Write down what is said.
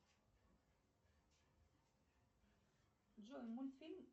джой мультфильм